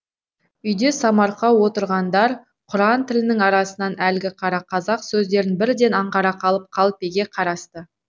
үйде самарқау отырғандар құран тілінің арасынан әлгі қара қазақ сөздерін бірден аңғара қалып қалпеге қарасты